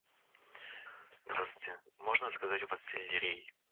здравствуйте можно заказать у вас сельдерей